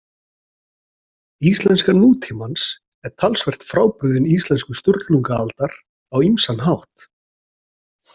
Íslenska nútímans er talsvert frábrugðin íslensku Sturlungaaldar á ýmsan hátt.